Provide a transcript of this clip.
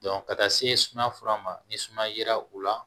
ka taa se sumaya fura ma ni sumaya yera u la